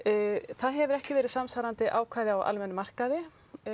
það hefur ekki verið samsvarandi ákvæði á almennum markaði